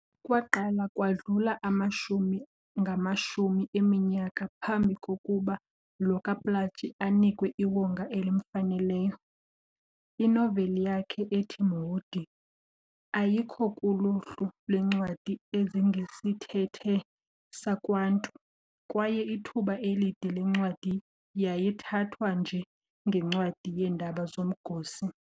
Kwaaqala kwadlula amashumi ngamashumi eminyaka phambi kokuba lo kaPlaatji anikwe iwonga elimfaneleyo. Inoveli yakhe ethi"Mhudi" ayikho kuluhlu lwencwadi ezingesithethe sakwantu, kwaye ithuba elide le ncwadi yayithathwa nje ngencwadi yeendaba zomgosi."